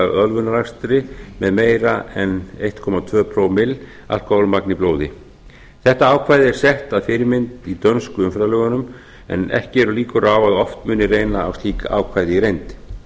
ölvunarakstri með meira en einn komma tvö pro klukkan af alkoholmagni í blóði þetta ákvæði er sett að fyrirmynd í dönsku umferðarlögunum en ekki eru líkur á að oft muni reyna á slík ákvæði í reynd